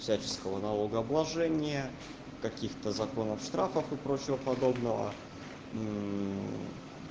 всяческого налогообложения каких-то законов штрафов и прочего подобного